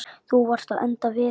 Þú varst að enda við.